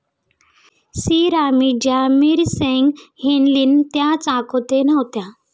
शिरामीं ज्या मिरसेंग न्हेलीन त्या चाकोते नव्हत्या.